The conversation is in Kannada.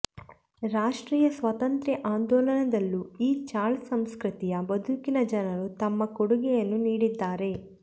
ರಾಷ್ಟ್ರೀಯ ಸ್ವಾತಂತ್ರ್ಯ ಆಂದೋಲನದಲ್ಲೂ ಈ ಚಾಳ್ ಸಂಸ್ಕೃತಿಯ ಬದುಕಿನ ಜನರು ತಮ್ಮ ಕೊಡುಗೆಯನ್ನು ನೀಡಿದ್ದಾರೆ